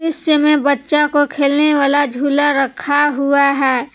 इस समय बच्चा को खेलने वाला झूला रखा हुआ है।